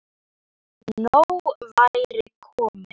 Nóg væri komið.